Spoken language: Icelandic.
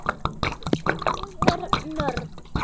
Ég er nörd.